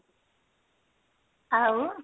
ଆଉ